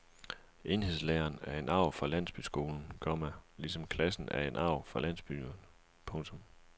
Enhedslæreren er en arv fra landsbyskolen, komma ligesom klassen er en arv fra landsbyerne. punktum